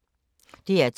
DR2